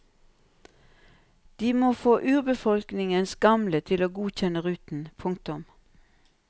De må få urbefolkningens gamle til å godkjenne ruten. punktum